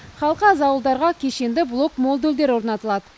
халқы аз ауылдарға кешенді блок модульдер орнатылады